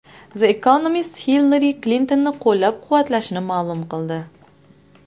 The Economist Hillari Klintonni qo‘llab-quvvatlashini ma’lum qildi.